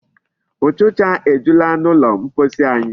Ụchịcha ejula n'ụlọ mposi anyị.